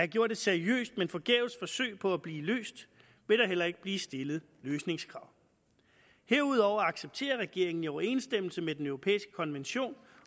gjort et seriøst men forgæves forsøg på at blive løst vil der heller ikke blive stillet løsningskrav herudover accepterer regeringen i overensstemmelse med den europæiske konvention